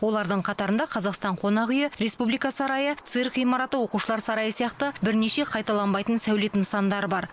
олардың қатарында қазақстан қонақ үйі республика сарайы цирк ғимараты оқушылар сарайы сияқты бірнеше қайталанбайтын сәулет нысандары бар